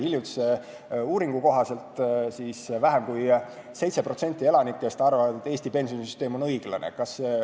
Hiljutise uuringu kohaselt vähem kui 7% elanikest arvab, et Eesti pensionisüsteem on õiglane.